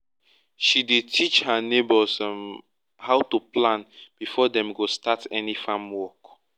she dey teach her neighbors um how to plan before dem go start any farm work